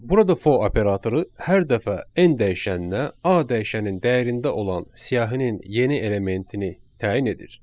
Burada for operatoru hər dəfə n dəyişəninə a dəyişənin dəyərində olan siyahının yeni elementini təyin edir.